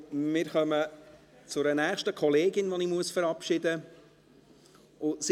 Wir kommen zu einer nächsten Kollegin, die ich verabschieden muss.